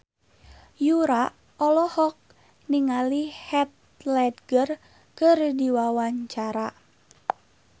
Yura olohok ningali Heath Ledger keur diwawancara